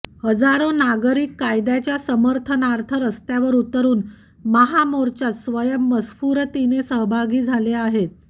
हजारो नागरिक कायद्याच्या समर्थनार्थ रस्त्यावर उतरून महामोर्चात स्वयंमस्फूरतिने सहभागी झाले आहेत